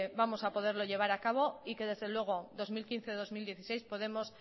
vamos a poderlo llevar cabo y que desde luego dos mil quince dos mil dieciséis podemos